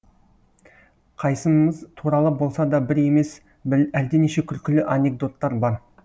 қайсымыз туралы болса да бір емес әлденеше күлкілі анекдоттар бар